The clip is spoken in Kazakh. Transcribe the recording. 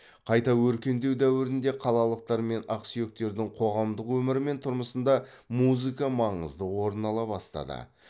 қайта өркендеу дәуірінде қалалықтар мен ақсүйектердің қоғамдық өмірі мен тұрмысында музыка маңызды орын ала бастады